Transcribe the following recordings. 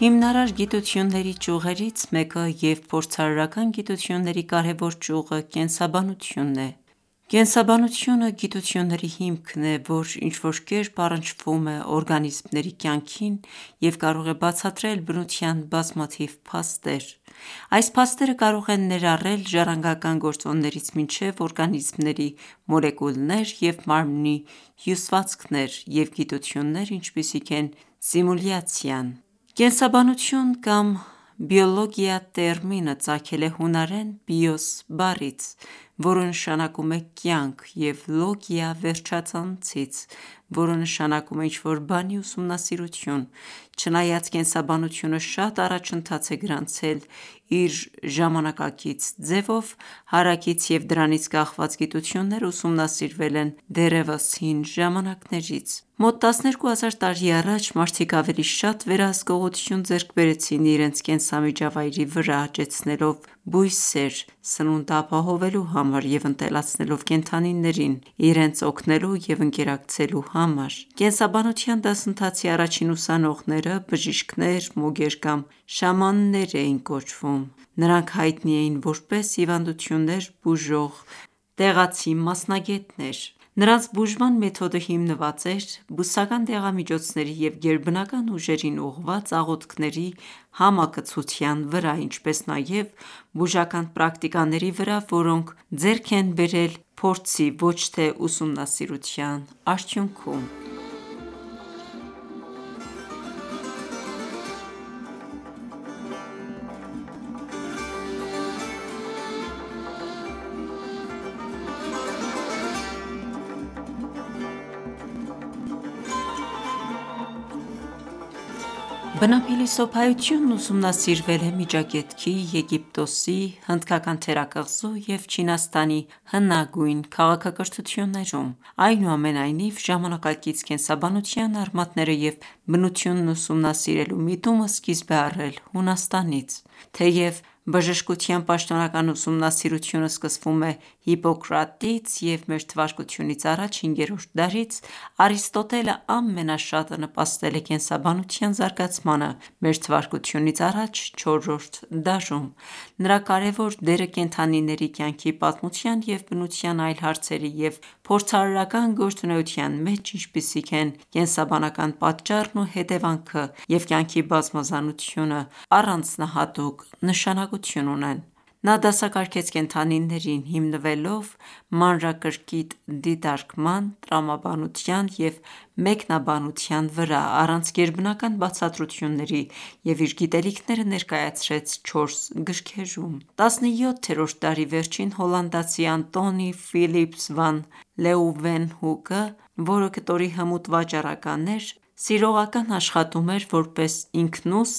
Հիմնարար գիտությունների ճյուղերից մեկը և փորձարարական գիտությունների կարևոր ճյուղը կենսաբանությունն է։ Կենսաբանության գիտությունը գիտության հիմքերն են, որոնք ինչ-որ կերպ առնչվում են օրգանիզմների կյանքին և կարող են բացատրել բնության բազմաթիվ փաստեր: Այս փաստերը կարող են ներառել ժառանգական գործոններից մինչև օրգանիզմների մոլեկուլներ և մարմնի հյուսվածքներ և գիտություններ, ինչպիսիք են սիմուլյացիան: Կենսաբանություն տերմինը ծագել է հունարեն βίος բիոս բառից, որը նշանակում է «կյանք» և λογία Լոգիա վերջածանցից, որը նշանակում է «ինչ-որ բանի ուսումնասիրություն»։ Չնայած կենսաբանությունը շատ առաջընթաց է գրանցել իր ժամանակակից ձևով, հարակից և դրանից կախված գիտությունները ուսումնասիրվել են դեռևս հին ժամանակներից: Մոտ 12000 տարի առաջ մարդիկ ավելի շատ վերահսկողություն ձեռք բերեցին իրենց կենսամիջավայրի վրա՝ աճեցնելով բույսեր՝ սնունդ ապահովելու համար և ընտելացնելով կենդանիներին՝ իրենց օգնելու և ընկերակցելու համար: Կենսաբանության դասընթացի առաջին ուսանողները բժիշկներ, մոգեր կամ շամաններ էին կոչվում: Նրանք հայտնի էին որպես հիվանդություններ բուժող տեղացի մասնագետներ։ Նրանց բուժման մեթոդը հիմնված էր բուսական դեղամիջոցների և գերբնական ուժերին ուղղված աղոթքների համակցության վրա, ինչպես նաև բուժական պրակտիկաների վրա, որոնք ձեռք են բերել փորձի (ոչ թե ուսումնասիրության) արդյունքում: Բնափիլիսոփայությունն ուսումնասիրվել է Միջագետքի, Եգիպտոսի, Հնդկական թերակղզու և Չինաստանի հնագույն քաղաքակրթություններում։ Այնուամենայնիվ, ժամանակակից կենսաբանության արմատները և բնությունն ուսումնասիրելու միտումը սկիզբ է առել Հունաստանից: Թեև բժշկության պաշտոնական ուսումնասիրությունը սկսվում է Հիպոկրատից և մ.թ.ա. հինգերորդ դարից, Արիստոտելը ամենաշատը նպաստել է կենսաբանության զարգացմանը մ.թ.ա. չորրորդ դարում: Նրա կարևոր դերը կենդանիների կյանքի պատմության և բնության այլ հարցերի և փորձարարական գործունեության մեջ, ինչպիսիք են կենսաբանական պատճառն ու հետևանքը և կյանքի բազմազանությունը, առանձնահատուկ նշանակություն ունեն: Նա դասակարգեց կենդանիներին՝ հիմնվելով մանրակրկիտ դիտարկման, տրամաբանության և մեկնաբանության վրա՝ առանց գերբնական բացատրությունների, և իր գիտելիքները ներկայացրեց չորս գրքերում։ 17-րդ դարի վերջին հոլանդացի Անտոնի Ֆիլիպս վան Լեուվենհուկը, որը կտորի հմուտ վաճառական էր, սիրողական աշխատում էր որպես ինքնուս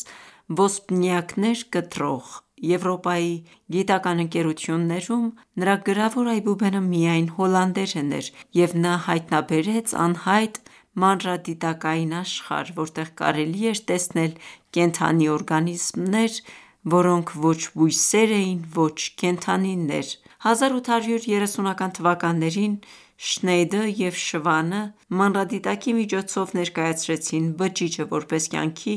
ոսպնյակներ կտրող։ Եվրոպայի գիտական ​​ընկերություններում նրա գրավոր այբուբենը միայն հոլանդերեն էր, և նա հայտնաբերեց անհայտ մանրադիտակային աշխարհ, որտեղ կարելի էր տեսնել կենդանի օրգանիզմներ, որոնք ոչ բույսեր էին, ոչ կենդանիներ: 1830-ական թվականներին «Շնեյդը» և «Շվանը» մանրադիտակի միջոցով ներկայացրեցին բջիջը որպես կյանքի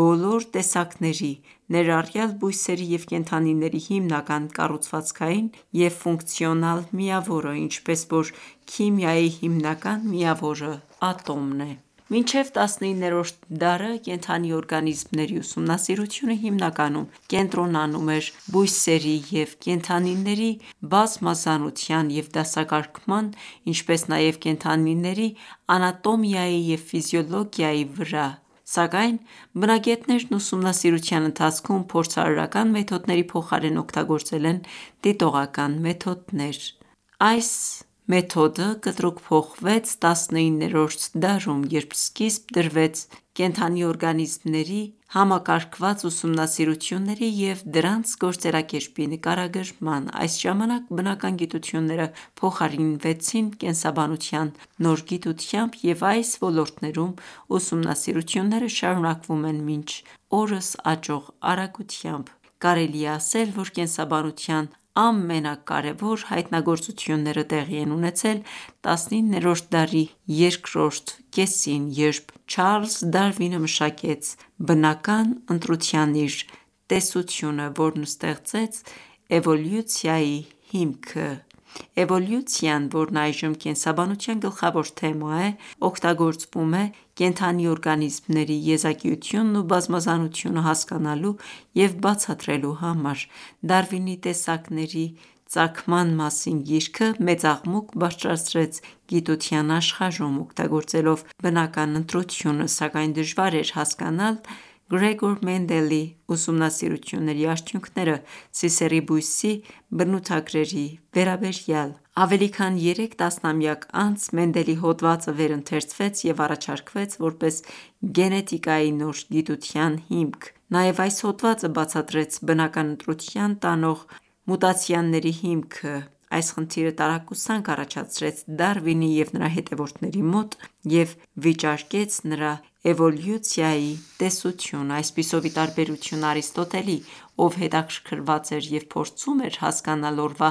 բոլոր տեսակների, ներառյալ բույսերի և կենդանիների հիմնական կառուցվածքային և ֆունկցիոնալ միավորը, ինչպես որ քիմիայի հիմնական միավորը ատոմն է: Մինչև 19-րդ դարը կենդանի օրգանիզմների ուսումնասիրությունը հիմնականում կենտրոնանում էր բույսերի և կենդանիների բազմազանության և դասակարգման, ինչպես նաև կենդանիների անատոմիայի և ֆիզիոլոգիայի վրա: Սակայն բնագետներն ուսումնասիրության ընթացքում փորձարարական մեթոդների փոխարեն օգտագործել են դիտողական մեթոդներ: Այս մեթոդը կտրուկ փոխվեց 19-րդ դարում, երբ սկիզբ դրվեց կենդանի օրգանիզմների համակարգված ուսումնասիրությունների և դրանց գործելակերպի նկարագրման: Այս ժամանակ բնական գիտությունները փոխարինվեցին կենսաբանության նոր գիտությամբ, և այս ոլորտներում ուսումնասիրությունները շարունակվում են մինչ օրս աճող արագությամբ։ Կարելի է ասել, որ կենսաբանության ամենակարևոր հայտնագործությունները տեղի են ունեցել 19-րդ դարի երկրորդ կեսին, երբ Չարլզ Դարվինը մշակեց բնական ընտրության իր տեսությունը, որն ստեղծեց էվոլյուցիայի հիմքը։ Էվոլյուցիան, որն այժմ կենսաբանության գլխավոր թեմա է, օգտագործվում է կենդանի օրգանիզմների եզակիությունն ու բազմազանությունը հասկանալու և բացատրելու համար: Դարվինի «Տեսակների ծագման մասին» գիրքը մեծ աղմուկ բարձրացրեց գիտության աշխարհում՝ օգտագործելով բնական ընտրությունը, սակայն դժվար էր հասկանալ Գրեգոր Մենդելի ուսումնասիրությունների արդյունքները սիսեռի բույսի բնութագրերի վերաբերյալ: Ավելի քան երեք տասնամյակ անց Մենդելի հոդվածը վերընթերցվեց և առաջարկվեց որպես գենետիկայի նոր գիտության հիմք։ Նաև այս հոդվածը բացատրեց բնական ընտրության տանող մուտացիաների հիմքը: Այս խնդիրը տարակուսանք առաջացրեց Դարվինի և նրա հետևորդների մոտ և վիճարկեց նրա էվոլյուցիայի տեսությունը: Այսպիսով, ի տարբերություն Արիստոտելի, ով հետաքրքրված էր և փորձում էր հասկանալ օրվա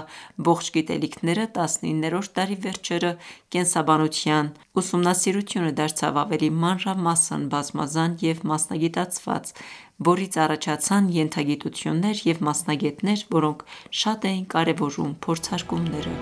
ողջ գիտելիքները, 19-րդ դարի վերջերը, կենսաբանության ուսումնասիրությունը դարձավ ավելի մանրամասն, բազմազան և մասնագիտացված, որից առաջացան ենթագիտություններ և մասնագետներ, որոնք շատ էին կարևորում փորձարկումները: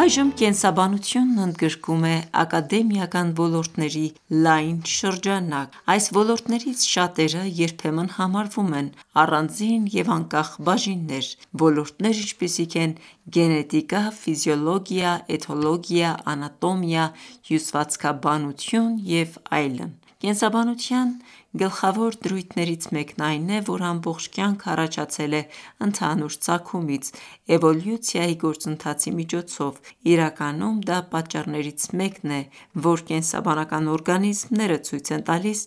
Այժմ կենսաբանությունն ընդգրկում է ակադեմիական ոլորտների լայն շրջանակ: Այս ոլորտներից շատերը երբեմն համարվում են առանձին և անկախ բաժիններ: Ոլորտներ, ինչպիսիք են՝ գենետիկա, ֆիզիոլոգիա, էթոլոգիա, անատոմիա, հյուսվածքաբանություն և այլն։ Կենսաբանության գլխավոր դրույթներից մեկն այն է, որ ամբողջ կյանքը առաջացել է ընդհանուր ծագումից՝ էվոլյուցիայի գործընթացի միջոցով: Իրականում դա պատճառներից մեկն է, որ կենսաբանական օրգանիզմները ցույց են տալիս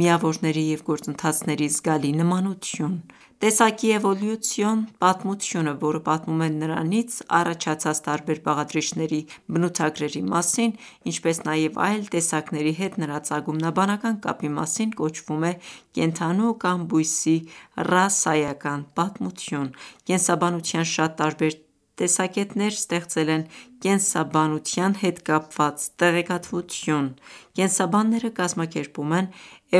միավորների և գործընթացների զգալի նմանություն։ Տեսակի էվոլյուցիոն պատմությունը, որը պատմում է նրանից առաջացած տարբեր բաղադրիչների բնութագրերի մասին, ինչպես նաև այլ տեսակների հետ նրա ծագումնաբանական կապի մասին, կոչվում է կենդանու կամ բույսի ռասայական պատմություն։ Կենսաբանության շատ տարբեր տեսակետներ ստեղծել են կենսաբանության հետ կապված տեղեկատվություն: Կենսաբանները կազմակերպում են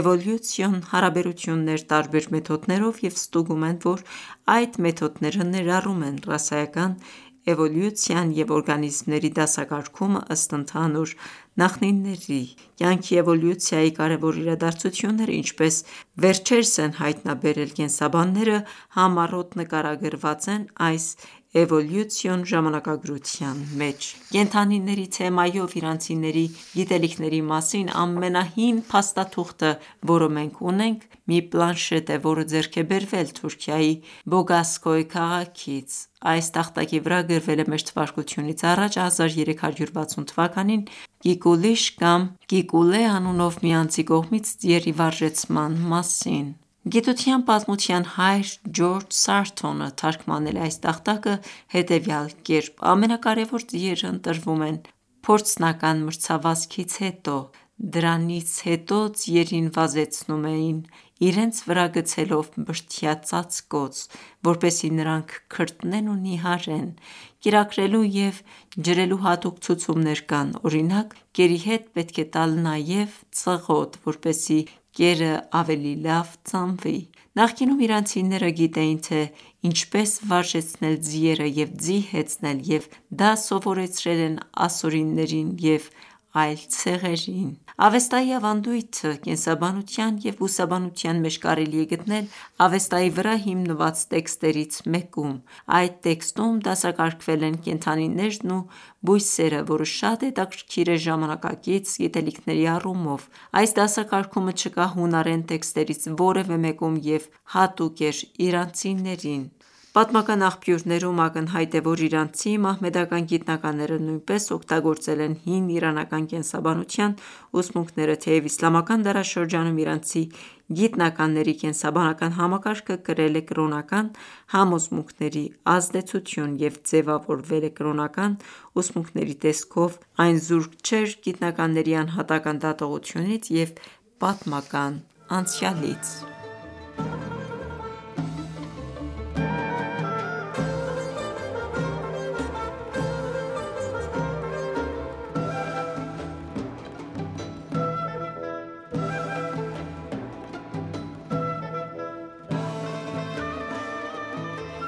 էվոլյուցիոն հարաբերություններ տարբեր մեթոդներով և ստուգում են, որ այդ մեթոդները ներառում են ռասայական էվոլյուցիան և օրգանիզմների դասակարգումն ըստ ընդհանուր նախնիների: Կյանքի էվոլյուցիայի կարևոր իրադարձությունները, ինչպես վերջերս են հայտնաբերել կենսաբանները, համառոտ նկարագրված են այս էվոլյուցիոն ժամանակագրության մեջ: Կենդանիների թեմայով իրանցիների գիտելիքների մասին ամենահին փաստաթուղթը, որը մենք ունենք, մի պլանշետ է, որը ձեռք է բերվել Թուրքիայի Բոգազքոյ քաղաքից: Այս տախտակի վրա գրվել է մ.թ.ա. 1360 թվականին Կիկուլիշ կամ Կիկուլե անունով մի անձի կողմից ձիերի վարժեցման մասին։ Գիտության պատմության հայր՝ Ջորջ Սարթոնը, թարգմանել է այս տախտակը հետևյալ կերպ. «Ամենակարևոր ձիերն ընտրվում են փորձնական մրցավազքից հետո։ Դրանից հետո ձիերին վազեցնում էին իրենց վրա գցելով բրդյա ծածկոց, որպեսզի նրանք քրտնեն ու նիհարեն։ Կերակրելու և ջրելու հատուկ ցուցումներ կան, օրինակ՝ կերի հետ պետք է տալ նաև ծղոտ, որպեսզի կերը ավելի լավ ծամվի»։ Նախկինում իրանցիները գիտեին, թե ինչպես վարժեցնել ձիերը և ձի հեծնել և դա սովորեցրել են ասորիներին և այլ ցեղերին: Ավեստայի ավանդույթը կենդանաբանության և բուսաբանության մեջ կարելի է գտնել Ավեստայի վրա հիմնված տեքստերից մեկում: Այդ տեքստում դասակարգվել են կենդանիներն ու բույսերը, որը շատ հետաքրքիր է ժամանակակից գիտելիքների առումով։ Այս դասակարգումը չկա հունարեն տեքստերից որևէ մեկում և հատուկ էր իրանցիներին: Պատմական աղբյուրներում ակնհայտ է, որ իրանցի մահմեդական գիտնականները նույնպես օգտագործել են հին իրանական կենսաբանության ուսմունքները: Թեև իսլամական դարաշրջանում իրանցի գիտնականների կենսաբանական համակարգը կրել է կրոնական համոզմունքների ազդեցություն և ձևավորվել է կրոնական ուսմունքների տեսքով, այն զուրկ չէր գիտնականների անհատական ​​դատողություններից և պատմական անցյալից: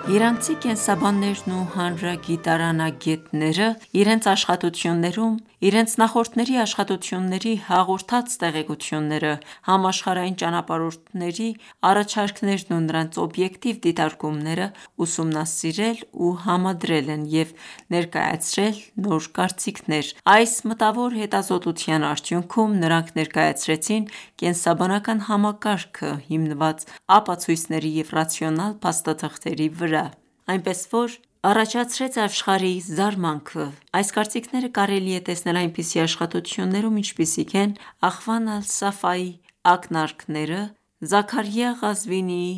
Իրանցի կենսաբաններն ու հանրագիտարանագետներն իրենց աշխատություններում իրենց նախորդների աշխատությունների հաղորդած տեղեկությունները, համաշխարհային ճանապարհորդների առաջարկներն ու նրանց օբյեկտիվ դիտարկումները ուսումնասիրել ու համադրել են և ներկայացրել նոր կարծիքներ։ Այս մտավոր հետազոտության արդյունքում նրանք ներկայացրեցին կենսաբանական համակարգը՝ հիմնված ապացույցների և ռացիոնալ փաստաթղթերի վրա, այնպես, որ առաջացրեց աշխարհի զարմանքը: Այս կարծիքները կարելի է տեսնել այնպիսի աշխատություններում, ինչպիսիք են «Ախվան ալ-Սաֆայի ակնարկները», Զաքարիա Ղազվինիի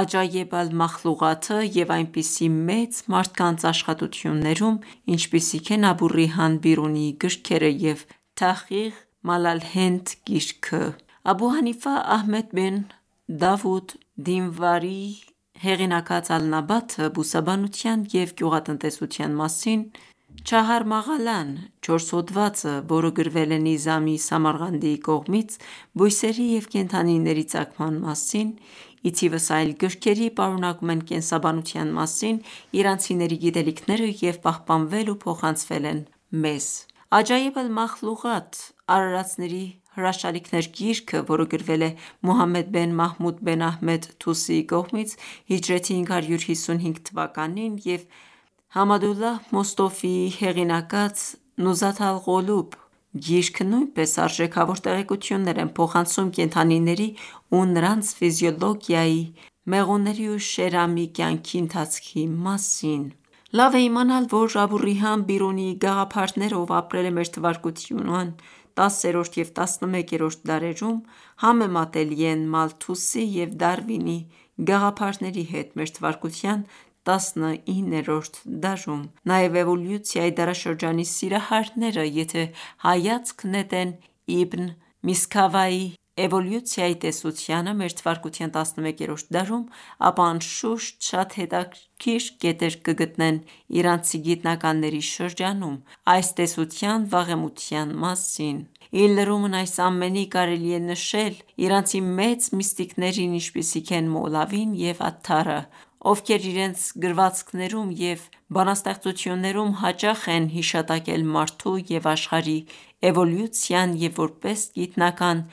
«Աջայբ ալ-Մախլուղաթը» և այնպիսի մեծ մարդկանց աշխատություններում, ինչպիսիք են Աբու Ռեյհան Բիրունիի գրքերը և «Թահղիղ Մալլահենդ» գիրքը։ Աբու Հանիֆա Ահմադ Բին Դավուդ Դինվարիի հեղինակած «Ալ-Նաբաթը» բուսաբանության և գյուղատնտեսության մասին, «Չահար Մաղալա»-ն (Չորս հոդված), որը գրվել է Նիզամի Սամարղանդիի կողմից՝ բույսերի և կենդանիների ծագման մասին, ի թիվս այլ գրքերի, պարունակում են կենսաբանության մասին իրանցիների գիտելիքները և պահպանվել ու փոխանցվել են մեզ։ «Աջայեբ Ալ Մախլուղաթ» (Արարածների հրաշալիքները) գիրքը, որը գրվել է Մուհամմեդ բեն Մահմուդ բեն Ահմադ Թուսիի կողմից, հիջրեթի 555 թվականին և Համադուլլահ Մոստոֆիի հեղինակած «Նուզաթ ալ-Ղուլուբ» գիրքը նույնպես արժեքավոր տեղեկություններ են փոխանցում կենդանիների ու նրանց ֆիզիոլոգիայի, մեղուների ու շերամի կյանքի ընթացքի մասին։ Լավ է իմանալ, որ Աբու Ռեհան Բիրունիի գաղափարները, ով ապրել է մ.թ. 10-րդ և 11-րդ դարերում, համեմատելի են Մալթուսի և Դարվինի գաղափարների հետ՝ մ.թ. 19-րդ դարում: Նաև էվոլյուցիայի դարաշրջանի սիրահարները, եթե հայացք նետեն «Իբն Միսքավայհ»-ի էվոլյուցիայի տեսությանը` մ.թ. 11-րդ դարում, ապա, անշուշտ, շատ հետաքրքիր կետեր կգտնեն իրանցի գիտնականների շրջանում այս տեսության վաղեմության մասին: Ի լրումն այս ամենի, կարելի է նշել նաև իրանցի մեծ միստիկներին, ինչպիսիք են Մոլավին և Աթթարը, ովքեր իրենց գրվածքներում և բանաստեղծություններում հաճախ են հիշատակել մարդու և աշխարհի էվոլյուցիան և որպես գիտնական